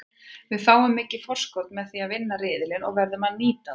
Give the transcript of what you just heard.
Við fáum mikið forskot með því að vinna riðilinn og verðum að nýta það.